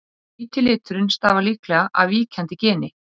Hvíti liturinn stafar líklega af víkjandi geni.